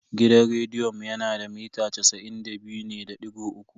Gidan rediyon mu yana da mita casa'in da biyu ne da digo uku.